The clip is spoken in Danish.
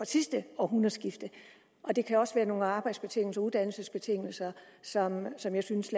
sidste århundredskifte og det kan også være nogle arbejdsbetingelser uddannelsesbetingelser som jeg synes